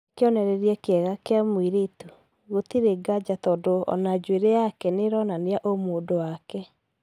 Niwe kionereria kiega kia mũiretu gũtari ngaja tũndo ona njuere yake nĩronania ũmũndũ wake.